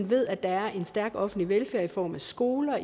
ved at der er en stærk offentlig velfærd i form af skoler